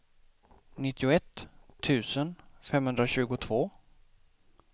nittioett tusen femhundratjugotvå